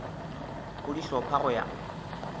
go di hlopha go ya